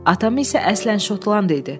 Atam isə əslən Şotland idi.